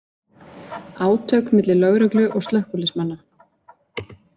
Átök milli lögreglu og slökkviliðsmanna